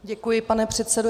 Děkuji, pane předsedo.